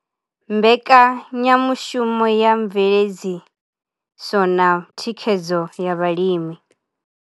Mbekanyamushumo ya Mveledziso na Thikhedzo ya Vhalimi.